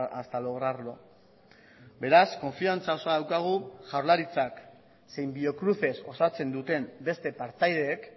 hasta lograrlo beraz konfiantza osoa daukagu jaurlaritzak zein biocruces osatzen duten beste partaideek